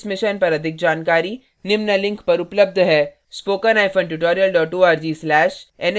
इस mission पर अधिक जानकारी निम्न लिंक पर उपलब्ध है